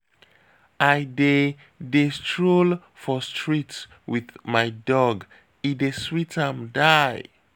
I dey dey stroll for street wit my dog, e dey sweet am die.